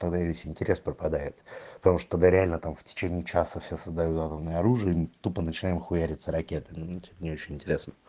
тогда и весь интерес пропадает потому что тогда реально там в течение часа все создают атомное оружие и мы тупо начинаем хуяриться ракетами ну типо не очень интересно